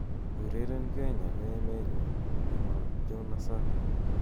ureren kenya ko emeenyun nepo jona sakwa